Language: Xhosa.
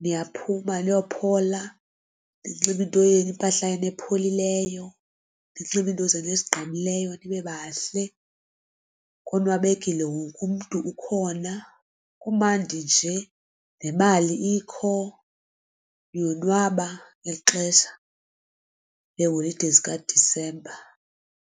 niyaphuma niyophola ninxibe into yenu impahla epholileyo ninxibe into zenu esinqqinileyo nibe bahle. Konwabekile wonke umntu ukhona kumandi nje nemali ikho niyonwaba ngeli xesha leholide zikaDisemba.